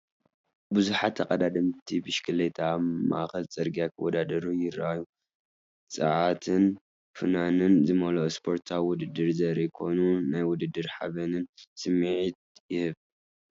ብዙሓት ተቐዳደምቲ ብሽክለታ ኣብ ማእከል ጽርግያ ክወዳደሩ ይረኣዩ። ጸዓትን ፍናንን ዝመልኦ ስፖርታዊ ውድድር ዘርኢ ኮይኑ፡ ናይ ውድድርን ሓበንን ስምዒት ይህብ፡፡